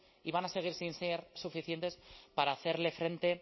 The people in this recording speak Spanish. y van a seguir sin ser suficientes para hacerle frente